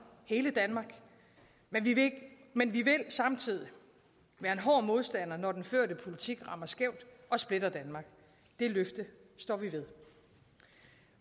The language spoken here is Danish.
hele danmark men vi vil samtidig være en hård modstander når den førte politik rammer skævt og splitter danmark det løfte står vi ved